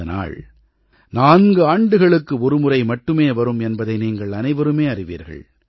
இந்த நாள் நான்காண்டுகளுக்கு ஒருமுறை மட்டுமே வரும் என்பதை நீங்கள் அனைவருமே அறிவீர்கள்